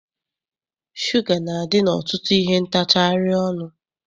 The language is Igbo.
Shuga na-adị n'ọtụtụ ihe ntacharị ọnụ.